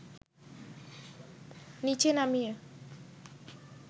নিচে নামিয়ে